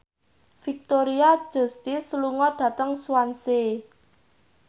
Victoria Justice lunga dhateng Swansea